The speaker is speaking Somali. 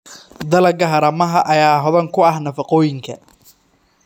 Dalagga haramaha ayaa hodan ku ah nafaqooyinka.